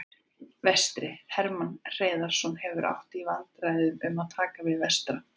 Vestri: Hermann Hreiðarsson hefur átt í viðræðum um að taka við Vestra.